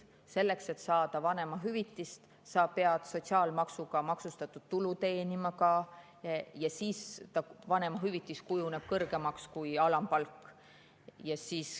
Selleks, et saada vanemahüvitist, pead sa sotsiaalmaksuga maksustatud tulu teenima ja siis vanemahüvitis kujuneb kõrgemaks kui alampalk.